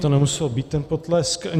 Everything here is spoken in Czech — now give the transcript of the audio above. To nemuselo být, ten potlesk.